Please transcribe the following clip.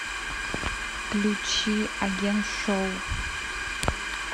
включи агент шоу